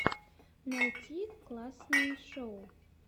найти классные шоу